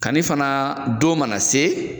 Kanni fana don mana se.